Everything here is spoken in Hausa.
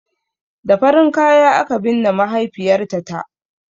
Da farin kaya aka binne mahaifiyarta ta